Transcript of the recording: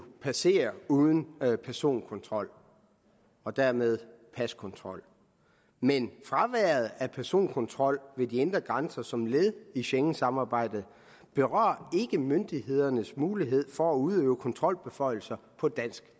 passere uden personkontrol og dermed paskontrol men fraværet af personkontrol ved de indre grænser som et led i schengensamarbejdet berører ikke myndighedernes mulighed for at udøve kontrolbeføjelser på dansk